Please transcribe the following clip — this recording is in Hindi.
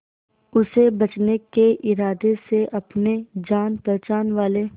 उसे बचने के इरादे से अपने जान पहचान वाले